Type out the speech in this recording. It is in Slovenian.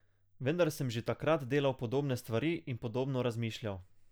Vendar sem že takrat delal podobne stvari in podobno razmišljal.